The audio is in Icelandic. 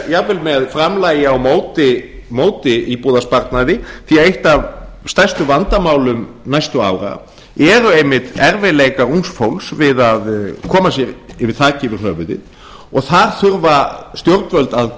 jafnvel með framlagi á móti íbúðarsparnaði því að eitt af stærstu vandamálum næstu árum einmitt erfiðleikar ungs fólks við að koma sér þaki yfir höfuðið og þar þurfa stjórnvöld að